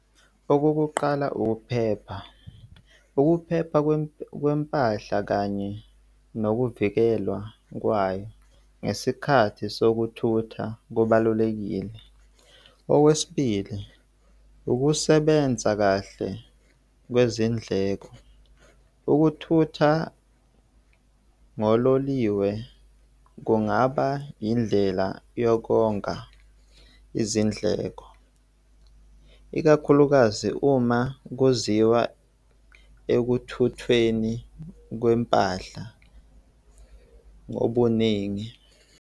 Okokuqala, ukuphepha. Ukuphepha kwempahla kanye nokuvikelwa kwayo ngesikhathi sokuthutha kubalulekile. Okwesibili, ukusebenza kahle kwezindleko. Ukuthutha ngololiwe kungaba indlela yokonga izindleko, ikakhulukazi uma kuziwa ekuthuthweni kwempahla ngobuningi.